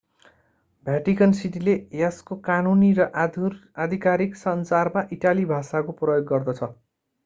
भ्याटिकन सिटीले यसको कानूनी र आधिकारिक सञ्चारमा इटाली भाषाको प्रयोग गर्दछ